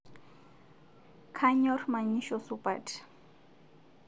Kanyor manyisho supat